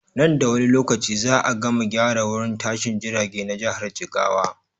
Nan da wani lokaci za a gama gyara wurin tashin jirage na jihar jigawa.